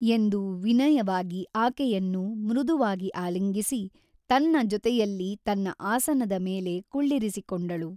ಎಂದು ವಿನಯವಾಗಿ ಆಕೆಯನ್ನು ಮೃದುವಾಗಿ ಆಲಿಂಗಿಸಿ ತನ್ನ ಜೊತೆಯಲ್ಲಿ ತನ್ನ ಆಸನದ ಮೇಲೆ ಕುಳ್ಳಿರಿಸಿಕೊಂಡಳು.